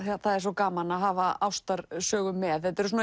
það er svo gaman að hafa ástarsögu með þetta eru